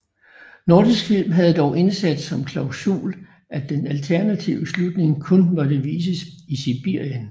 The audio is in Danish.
Nordisk Film havde dog indsat som klausul at den alternative slutning kun måtte vises i Sibirien